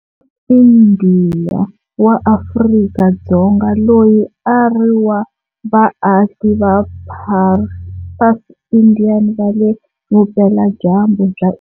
Indiya wa Afrika-Dzonga loyi a a ri wa vaaki va Parsi-Indian va le vupeladyambu bya.